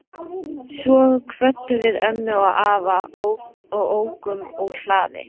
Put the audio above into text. Svo kvöddum við ömmu og afa og ókum úr hlaði.